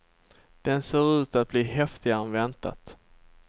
Den ser ut att bli häftigare än väntat.